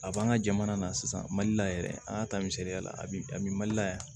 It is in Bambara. A b'an ka jamana na sisan mali la yɛrɛ an y'a ta misaliya la bi a bɛ mali la yan